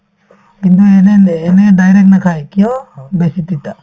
কিন্তু এনেহেন এনেই direct নাখাই কিয় বেছি তিতা